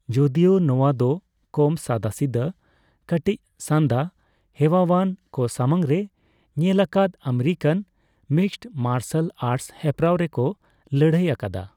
ᱡᱚᱫᱤᱭᱳ ᱱᱚᱣᱟ ᱫᱚ ᱠᱚᱢ ᱥᱟᱫᱟᱥᱤᱫᱟᱹ, ᱠᱟᱴᱤᱪ ᱥᱟᱱᱫᱟ ᱦᱮᱣᱟᱭᱟᱱ ᱠᱚ ᱥᱟᱢᱟᱝ ᱨᱮ ᱧᱮᱞ ᱟᱠᱟᱫ ᱟᱢᱮᱨᱤᱠᱟᱱ ᱢᱤᱠᱥᱰ ᱢᱟᱨᱥᱟᱞ ᱟᱨᱴᱥ ᱦᱮᱯᱨᱟᱣ ᱨᱮᱠᱚ ᱞᱟᱹᱲᱦᱟᱹᱭ ᱟᱠᱟᱫᱟ ᱾